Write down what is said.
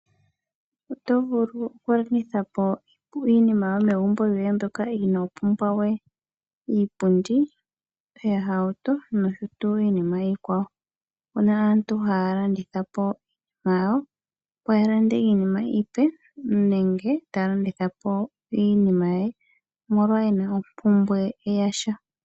Oto vulu oku landitha iinima yo megumbo yoye mbyoka iinopumbwawe iipundi, iihauto nosho tuu iinima iikwawo. Opuna aantu haya landithapo iinima yawo opo ga lande iinima iipe nenge ta landithapo iinima ye, omolwa ena ompumbwe yasha.